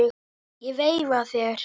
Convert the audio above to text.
Ég veifa þér.